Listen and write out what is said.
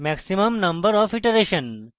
maximum number of iteration এবং